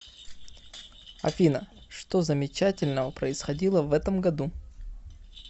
афина что замечательного происходило в этом году